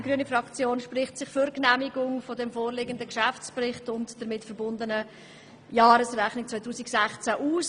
Die grüne Fraktion spricht sich für die Genehmigung des vorliegenden Geschäftsberichts und der damit verbundenen Jahresrechnung 2016 aus.